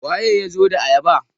waye ya zo da ayabar?